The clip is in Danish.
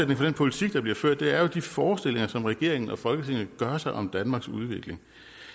den politik der bliver ført er jo de forestillinger som regeringen og folketinget gør sig om danmarks udvikling